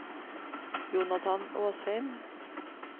Jonathan Åsheim